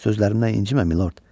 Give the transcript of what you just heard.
Sözlərimdən incimə, Milord.